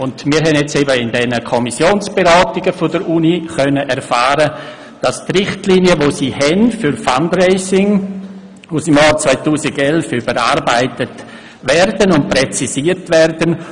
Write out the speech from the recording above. In den Kommissionsberatungen über den Bericht der Universität Bern konnten wir erfahren, dass die Richtlinien für Fundraising aus dem Jahr 2011 der Universität nun überarbeitet und präzisiert werden.